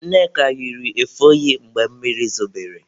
Nneka yiri efe oyi mgbe mmiri zobere.